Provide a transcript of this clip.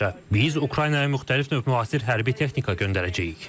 Biz Ukraynaya müxtəlif növ müasir hərbi texnika göndərəcəyik.